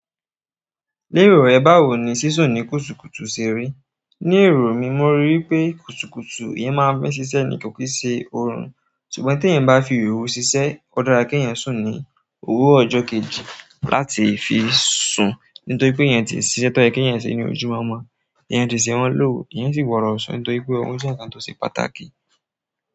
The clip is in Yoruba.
Lérò rẹ báwo ni sísún ní kùtùkùtù ṣe rí? Ni ero mi mo ri wípé kùtùkùtù eeyan maa n fi sise ni ko kii se oorun ṣùgbọ́n teeyan bá fi ooru ṣiṣẹ́, ó dára kí ẹ́ sún ní òwúrọ̀ ọjọ́ kejì láti fi sùn, nítorí pé eeyan ti ṣiṣẹ́. Tọ́ ye keeyan ṣe ní ojúmọ́mo eeyan ti ṣe wọ́n lòru, eeyan sì gbodo sun, nítorí pé oorun sì ń je nǹkan tó ṣe pàtàkì.